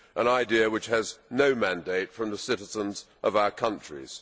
An idea which has no mandate from the citizens of our countries.